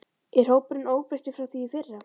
Er hópurinn óbreyttur frá því í fyrra?